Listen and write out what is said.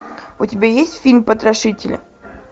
у тебя есть фильм потрошители